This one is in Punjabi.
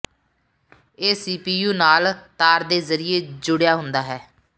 ਇਹ ਸੀਪੀਯੂ ਨਾਲ ਤਾਰ ਦੇ ਜ਼ਰੀਏ ਜੁੜਿਆ ਹੁੰਦਾ ਹੈ